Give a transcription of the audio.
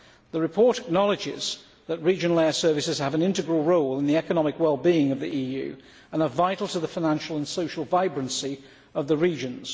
The report acknowledges that regional air services have an integral role in the economic well being of the EU and are vital to the financial and social vibrancy of the regions.